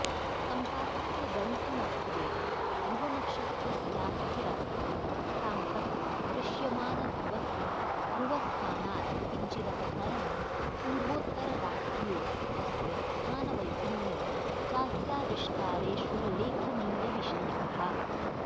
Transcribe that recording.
सम्पातस्य गंतिमत्त्वेन ध्रुवनक्षत्रस्यास्थिरत्वं साम्प्रतिक दृश्यमानध्रुवस्य ध्रुवस्थानात्किञ्चिदपसरणं पूर्वोत्तररात्र्योस्तस्य स्थानवैभिन्यं चास्याविष्कारेषुल्लेखनीयविषयाः